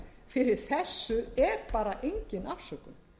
fyrir þessu er bara engin afsökun